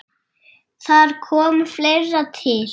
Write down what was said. Þar kom fleira til.